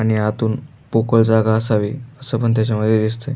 आणि आतून पोकळ जागा असावी असं पण त्याच्यामध्ये दिसतंय.